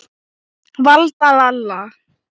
Valda, Lalla.